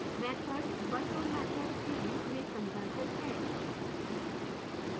methods virtual methods के रूप में संदर्भित है